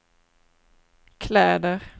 kläder